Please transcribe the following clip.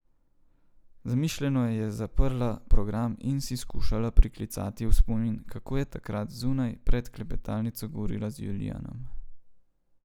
Zamišljeno je zaprla program in si skušala priklicati v spomin, kako je takrat zunaj pred klepetalnico govorila z Julijanom.